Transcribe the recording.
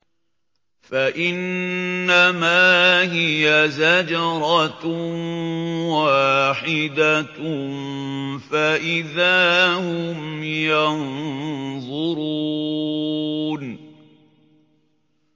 فَإِنَّمَا هِيَ زَجْرَةٌ وَاحِدَةٌ فَإِذَا هُمْ يَنظُرُونَ